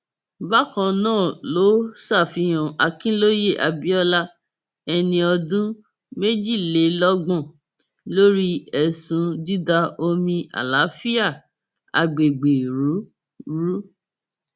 bákan náà ló ṣàfihàn akinlóye abiola ẹni ọdún méjìlélọgbọn lórí ẹsùn dída omi àlàáfíà àgbègbè rú rú